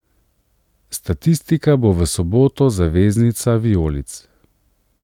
Statistika bo v soboto zaveznica vijolic.